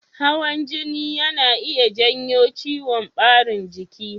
Hawan jini yana iya janyo ciwon ɓarin jiki.